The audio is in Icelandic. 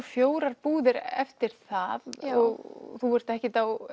fjórar búðir eftir það þú ert ekkert á